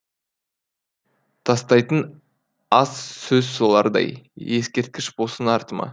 тастайын аз сөз солардай ескерткіш болсын артыма